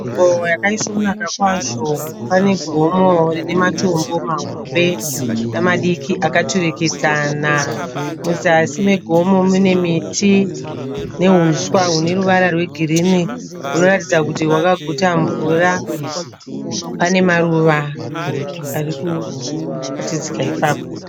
Nzvimbo yakaisvonaka kwazvo. Pane gomo rine matombo mahombe nemadiki akaturikidzana. Muzasi megomo mune miti nehuswa hune ruvara rwegirinhi hunoratidza kuti hwakaguta mvura. Pane maruva ari kubatikidzika ipapo.